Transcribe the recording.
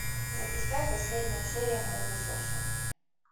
запускай последняя серия молокососы